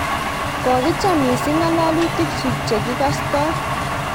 kokicham mising' ng'alalutikchich che kikastoi